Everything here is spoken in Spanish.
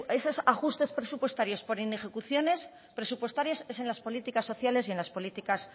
esos ajustes presupuestarios por inejecuciones presupuestarias es en las políticas sociales y en las políticas